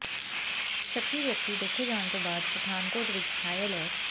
ਸ਼ੱਕੀ ਵਿਅਕਤੀ ਦੇਖੇ ਜਾਣ ਤੋਂ ਬਾਅਦ ਪਠਾਨਕੋਟ ਵਿਚ ਹਾਈ ਅਲਰਟ